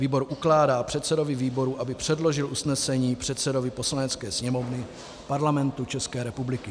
Výbor ukládá předsedovi výboru, aby předložil usnesení předsedovi Poslanecké sněmovny Parlamentu České republiky.